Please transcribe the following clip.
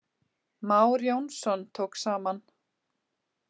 Már Jónsson tók saman.